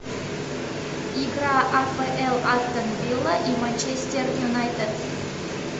игра апл астон вилла и манчестер юнайтед